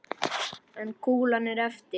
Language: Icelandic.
En kúlan er eftir.